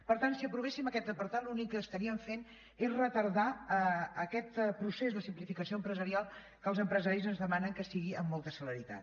per tant si aprovéssim aquest apartat l’únic que estaríem fent és retardar aquest procés de simplificació empresarial que els empresaris ens demanen que sigui amb molta celeritat